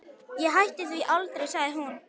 Ég hætti því aldrei, sagði hún.